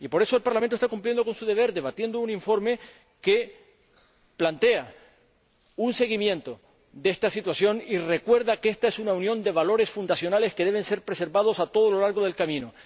Por eso, el Parlamento está cumpliendo con su deber, debatiendo un informe que plantea un seguimiento de esta situación y recuerda que esta es una unión de valores fundacionales que deben ser preservados a lo largo del camino.